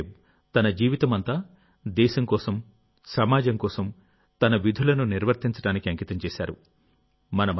బాబా సాహెబ్ తన జీవితమంతా దేశం కోసంసమాజం కోసం తన విధులను నిర్వర్తించడానికి అంకితం చేశారు